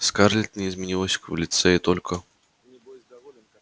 скарлетт не изменилась в лице и только